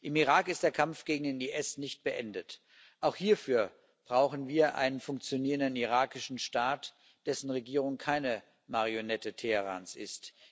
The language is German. Im Irak ist der Kampf gegen den IS nicht beendet. Auch hierfür brauchen wir einen funktionierenden irakischen Staat, dessen Regierung keine Marionette Teherans ist.